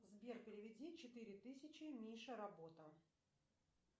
сбер переведи четыре тысячи мише работа